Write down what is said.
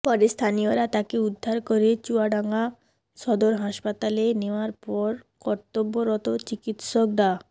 পরে স্থানীয়রা তাকে উদ্ধার করে চুয়াডাঙ্গা সদর হাসপাতালে নেওয়ার পর কর্তব্যরত চিকিৎসক ডা